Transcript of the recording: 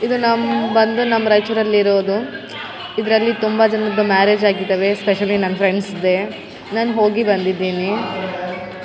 ಇದು ನಮ್ಮ್ ಬಂದು ನಮ್ಮ್ ರೈಚೂರಲ್ಲಿ ಇರೋದು ಇದ್ರಲ್ಲಿ ತುಂಬಾ ಜನ್ರದ್ದು ಮ್ಯಾರೇಜ್ ಆಗಿದವೆ ಸ್ಪೆಷಲಿ ನಮ್ಮ್ ಫ್ರೆಂಡ್ಸ್ ದೆ ನಾನ್ ಹೋಗಿ ಬಂದಿದೀನಿ.